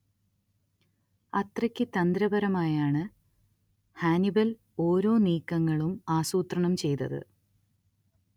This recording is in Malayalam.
അത്രയ്ക്കു തന്ത്രപരമായാണ് ഹാനിബല്‍ ഒരോ നീക്കങ്ങളും ആസൂത്രണം ചെയ്തത്